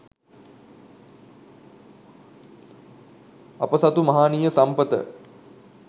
අප සතු මහානීය සම්පත